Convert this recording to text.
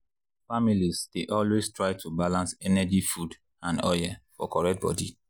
families dey always try to balance energy food and oil for correct body.